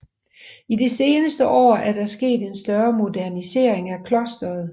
I de seneste år er der sket en større modernisering af klosteret